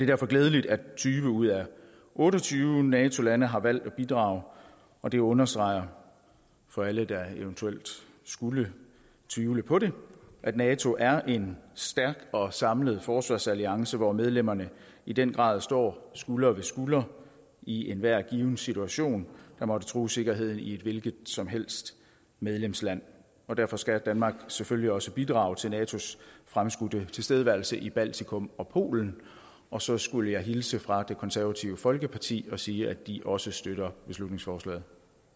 derfor glædeligt at tyve ud af otte og tyve nato lande har valgt at bidrage og det understreger for alle der eventuelt skulle tvivle på det at nato er en stærk og samlet forsvarsalliance hvor medlemmerne i den grad står skulder ved skulder i enhver given situation der måtte true sikkerheden i et hvilket som helst medlemsland derfor skal danmark selvfølgelig også bidrage til natos fremskudte tilstedeværelse i baltikum og polen og så skulle jeg hilse fra det konservative folkeparti og sige at de også støtter beslutningsforslaget